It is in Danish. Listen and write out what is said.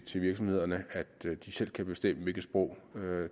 til virksomhederne at de selv kan bestemme hvilket sprog